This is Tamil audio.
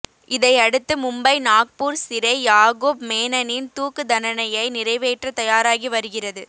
இதையடுத்து மும்பை நாக்பூர் சிறை யாகூப் மேமனின் தூக்கு தண்டனையை நிறைவேற்ற தயாராகி வருகிறது